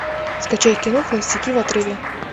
скачай кино холостяки в отрыве